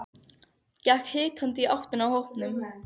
Gekk hikandi í áttina að hópnum.